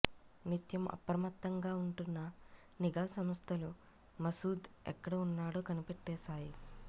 నిత్యం అప్రమత్తంగా ఉంటున్న నిఘా సంస్థలు మసూద్ ఎక్కడ ఉన్నాడో కనిపెట్టేశాయి